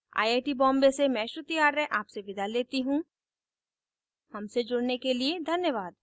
I I T Bombay से मैं श्रुति आर्य आपसे विदा लेती हूँ हमसे जुड़ने के लिए धन्यवाद